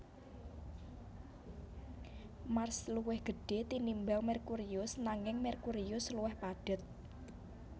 Mars luwih gedhé tinimbang Merkurius nanging Merkurius luwih padhet